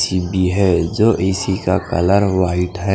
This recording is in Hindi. टी_बी हैं जो ए_सी का कलर भी वाइट हैं।